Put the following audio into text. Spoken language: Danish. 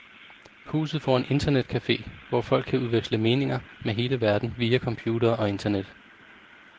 Huset får en internetcafe, hvor folk kan udveksle meninger med hele verden via computere og internet.